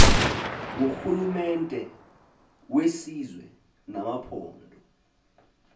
ngurhulumente wesizwe namaphondo